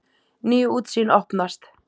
Ný útsýn opnast.